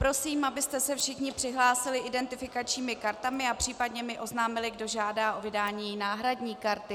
Prosím, abyste se všichni přihlásili identifikačními kartami a případně mi oznámili, kdo žádá o vydání náhradní karty.